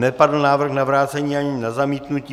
Nepadl návrh na vrácení ani na zamítnutí.